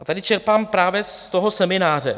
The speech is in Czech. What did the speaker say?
A tady čerpám právě z toho semináře.